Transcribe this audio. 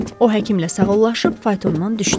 O həkimlə sağollaşıb faytondan düşdü.